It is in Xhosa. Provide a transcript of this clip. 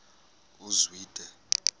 uzwide